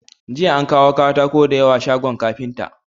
Jiya an kawo katako da yawa shagon kafinta.